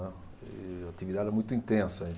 E a atividade era muito intensa.